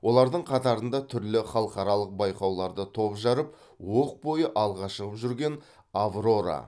олардың қатарында түрлі халықаралық байқауларда топ жарып оқ бойы алға шығып жүрген аврора